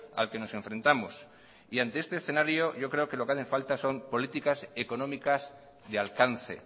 al que nos enfrentamos y ante este escenario yo creo que lo que hacen falta son políticas económicas de alcance